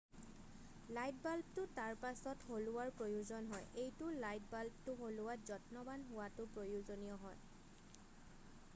light বাল্বটো তাৰপাছত সলোৱাৰ প্ৰয়োজন হয়৷ এইটো লাইট বাল্বটো সলোৱাত যত্নৱান হোৱাটো প্ৰয়োজনীয় হয়৷